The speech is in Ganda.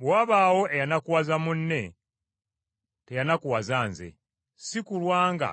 Bwe wabaawo eyanakuwaza munne, teyanakuwaza nze, si kulwa nga